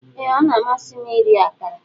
Ee a na-amasị m iri akara.